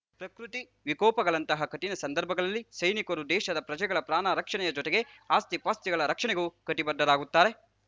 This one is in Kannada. ಪ್ರಕೃತಿ ವಿಕೋಪಗಳಂತಹ ಕಠಿಣ ಸಂದರ್ಭಗಳಲ್ಲಿ ಸೈನಿಕರು ದೇಶದ ಪ್ರಜೆಗಳ ಪ್ರಾಣರಕ್ಷಣೆಯ ಜೊತೆಗೆ ಆಸ್ತಿಪಾಸ್ತಿಗಳ ರಕ್ಷಣೆಗೂ ಕಟಿಬದ್ಧರಾಗುತ್ತಾರೆ